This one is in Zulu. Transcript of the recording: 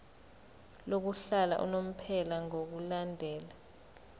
lokuhlala unomphela ngokulandela